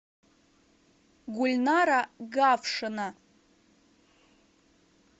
гульнара гавшина